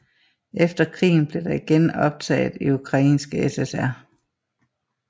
Efter krigen blev det igen optaget i Ukrainske SSR